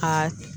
Aa